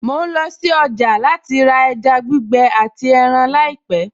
Mo ń lọ sí ọjà láìpẹ̀ láti ra ẹja gbígbẹ àti ẹran láìpẹ̀